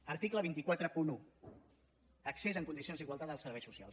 article dos cents i quaranta un accés en condicions d’igualtat als serveis socials